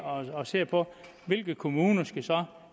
og ser på hvilke kommuner der så